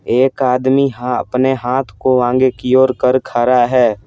एक आदमी अपने हाथ को आगे की ओर कर खा रा है।